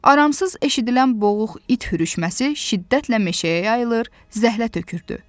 Aramsız eşidilən boğuq it hürüşməsi şiddətlə meşəyə yayılır, zəhlə tökürdü.